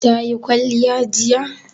Ta yi kwalliya jiya?